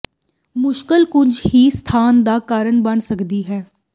ਮੁਸ਼ਕਲ ਕੁਝ ਹੀ ਸਥਾਨ ਦਾ ਕਾਰਨ ਬਣ ਸਕਦੀ ਹੈ